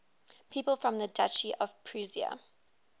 people from the duchy of prussia